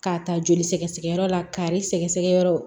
K'a ta joli sɛgɛsɛgɛ yɔrɔ la kari sɛgɛsɛgɛ yɔrɔ